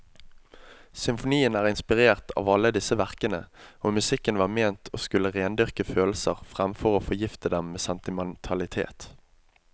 Symfonien er inspirert av alle disse verkene, og musikken var ment å skulle rendyrke følelser framfor å forgifte dem med sentimentalitet.